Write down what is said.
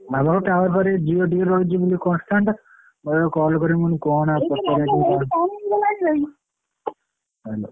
ଆମର tower power ଆମର Jio ଟିକେ ରହିଛି constant ବୋଲି କଲ କାଲି ଆଉ କଣ କରୁଛନ୍ତି ସବୁ bgspeach।